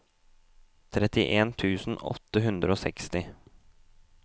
trettien tusen åtte hundre og seksti